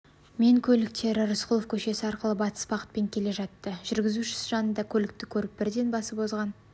мен көліктері рысқұлов көшесі арқылы батыс бағытпен келе жатты жүргізушісі жанындағы көлікті көріп бірден басып озған